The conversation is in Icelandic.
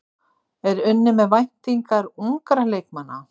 Er unnið með væntingar ungra leikmanna?